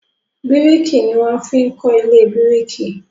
biriki ní wan fín kọ ilé biriki